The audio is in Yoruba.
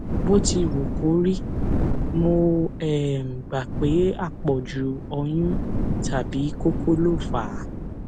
bó ti wù kó rí mo um gbà pé àpọjù ọyún tàbí kókó ló fà á